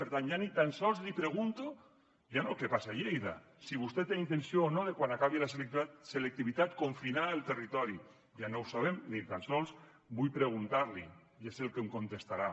per tant ja ni tan sols li pregunto ja no el que passa a lleida si vostè té intenció o no de quan acabi la selectivitat confinar el territori ja no ho sabem ni tan sols vull preguntar li ja sé el que em contestarà